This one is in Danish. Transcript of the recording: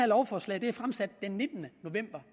lovforslag er fremsat den nittende november